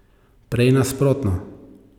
Prej nasprotno.